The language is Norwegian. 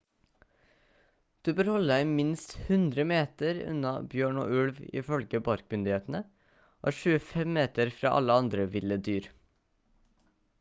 du bør holde deg minst 100 meter unna bjørn og ulv ifølge parkmyndighetene og 25 meter fra alle andre ville dyr